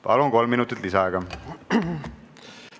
Palun, kolm minutit lisaaega!